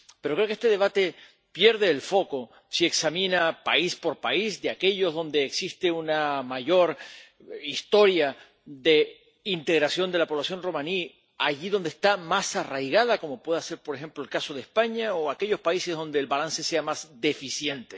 Pero creo que este debate pierde el foco si examina país por país aquellos donde existe una mayor historia de integración de la población romaní, allí donde está más arraigada, como pueda ser por ejemplo el caso de España, o aquellos países donde el balance sea más deficiente.